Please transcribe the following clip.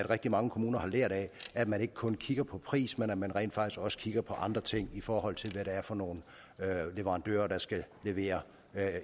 rigtig mange kommuner har lært af at man ikke kun kigger på pris men at man rent faktisk også kigger på andre ting i forhold til hvad det er for nogle leverandører der skal levere